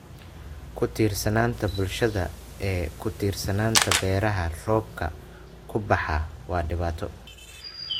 Ku tiirsanaanta bulshada ee ku tiirsanaanta beeraha roobka ku baxa waa dhibaato.